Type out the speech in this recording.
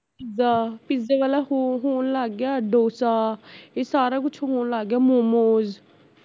pizza ਪੀਜ਼ੇ ਵਾਲਾ ਹੋਣ ਲੱਗ ਗਿਆ, ਡੋਸਾ ਇਹ ਸਾਰਾ ਕੁਜ ਹੋਣ ਲੱਗ ਗਿਆ ਮੋਂਮੋਸ